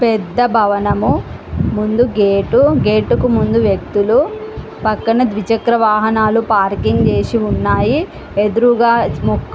పెద్ద భవనము. ముందు గెట్. ఊ గెట్ కు ముందు వ్యక్తులు. పక్కన ద్విచక్ర వాహనాలు పార్కింగ్ చేసి ఉన్నాయి. ఎదురుగా-- >]